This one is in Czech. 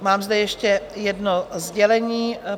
Mám zde ještě jedno sdělení.